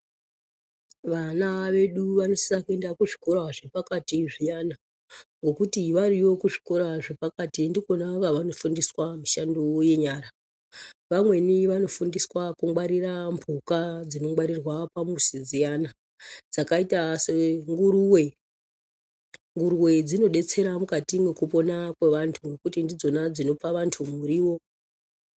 Vana vedu vanosisa kuenda kuzvikora zvepakati zviyana ngekuti variyo kuzvikora zvepakati ndikona kwavanofumdiswa mishando yenyara vamweni vanofundiswa kungwarira mbuka dzinongwarirwa pamuzi dziyana dzakaita senguruwe nguruwe dzinodetserwa mukati mwekupona kwevantu ngekuti ndidzona dzinopa vantu muriwo.